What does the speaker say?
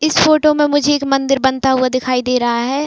इस फोटो मे मुझे एक मंदिर बनता हुआ दिखाई दे रहा है।